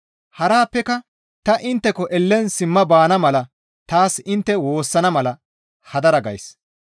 Harappeka ta intteko ellen simma baana mala taas intte woossana mala hadara gays.